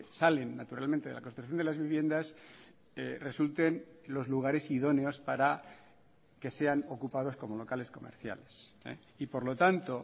salen naturalmente de la construcción de las viviendas resulten los lugares idóneos para que sean ocupados como locales comerciales y por lo tanto